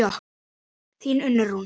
Þín Unnur Rún.